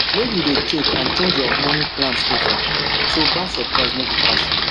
make you dey check and change your money plans of ten so bad surprise no go catch you